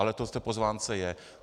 Ale tak to v pozvánce je.